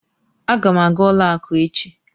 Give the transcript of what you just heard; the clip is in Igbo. Aga m aga ụlọ akụ echi